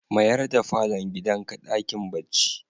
Mayar da falon gidanka dakin bacci.